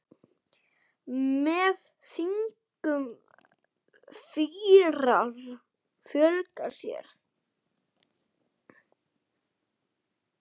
Með þingum fýrar fjölga sér.